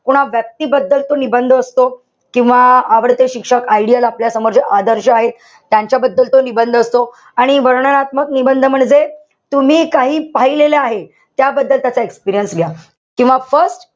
कुणा व्यक्तीबद्दलचा निबंध असतो. किंवा आवडते शिक्षक, आई-वडील आपल्यासमोर जे आदर्श आहे. त्यांच्याबद्दल तो निबंध असतो. आणि वर्णनात्मक निबंध म्हणजे तुम्ही काही पाहिलेलं आहे. त्याबद्दल त्याचा experience लिहा. किंवा first,